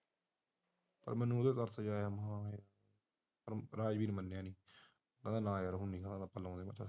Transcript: ਮੈਨੂ ੰਉਂ ਇਹਦੇ ਤੇ ਤਰਸ ਜਿਹਾ ਆਇਆ ਰਾਜੀ ਨੀ ਮੰਨਿਆ ਕਹਿੰਦਾ ਨਾ ਯਾਰ ਹੁਣ ਬਣਾਉਂਦਾ ਮੈਂ ਬੰਦਾ